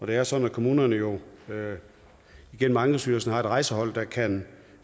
det er sådan at kommunerne jo igennem ankestyrelsen har et rejsehold der kan